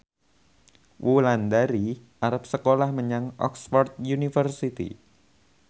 Wulandari arep sekolah menyang Oxford university